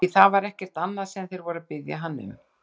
Því það var ekkert annað sem þeir voru að biðja hann um!